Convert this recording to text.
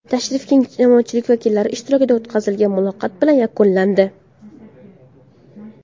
Tashrif keng jamoatchilik vakillari ishtirokida o‘tkazilgan muloqot bilan yakunlandi.